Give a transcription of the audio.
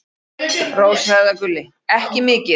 Rósa eða Gulli: Ekki mikið.